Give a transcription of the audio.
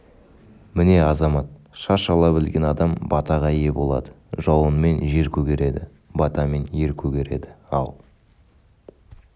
міне азамат шаш ала білген адам батаға ие болады жауынмен жер көгереді батамен ер көгереді ал